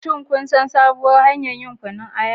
Shin kun san sabuwar hanyar yin Kunun aya?